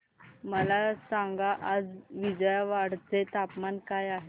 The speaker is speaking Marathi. मला सांगा आज विजयवाडा चे तापमान काय आहे